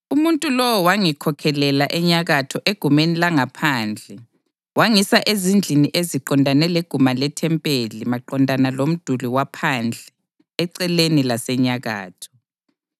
Umuntu lowo wangikhokhelela enyakatho egumeni langaphandle wangisa ezindlini eziqondane leguma lethempeli maqondana lomduli waphandle eceleni lasenyakatho.